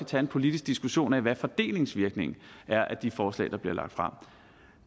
tage en politisk diskussion om hvad fordelingsvirkningen er af de forslag der bliver lagt frem